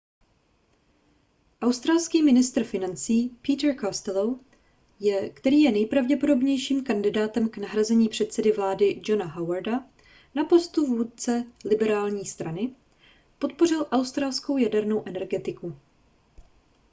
australský ministr financí peter costello který je nejpravděpodobnějším kandidátem k nahrazení předsedy vlády johna howarda na postu vůdce liberální strany podpořil australskou jadernou energetiku